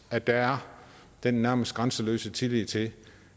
at der er den nærmest grænseløse tillid til